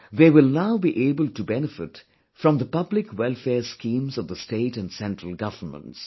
They will now be able to benefit from the public welfare schemes of the state and central governments